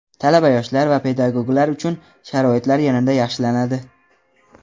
Talaba-yoshlar va pedagoglar uchun sharoitlar yanada yaxshilanadi.